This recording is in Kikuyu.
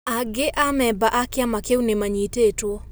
Aange ameba aakĩama kĩû ñimanyĩtĩtuo.